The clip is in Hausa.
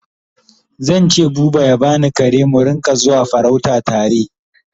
Zan ce buba ya bani kare mu Rinka zuwa farauta tare